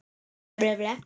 Allt sem minnti á hana.